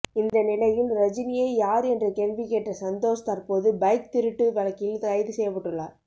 இந்த நிலையில் ரஜினியை யார் என்ற கேள்வி கேட்ட சந்தோஷ் தற்போது பைக் திருட்டு வழக்கில் கைது செய்யப்பட்டுள்ளார்